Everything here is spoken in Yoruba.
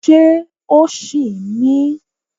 Ṣé o ṣì ń mí?